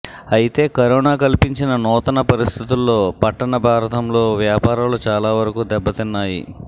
అయితే కరోనా కల్పించిన నూతన పరిస్థితుల్లో పట్టణ భారతంలో వ్యాపారాలు చాలా వరకు దెబ్బ తిన్నాయి